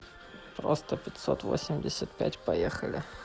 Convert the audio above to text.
просто пятьсот восемьдесят пять поехали